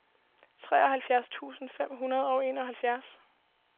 treoghalvfjerds tusind fem hundrede og enoghalvfjerds